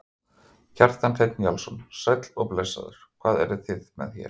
Kjartan Hreinn Njálsson: Sæll og blessaður, hvað eruð þið með hérna?